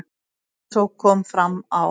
Eins og kom fram á